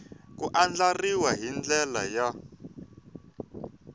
ku andlariwa hi ndlela ya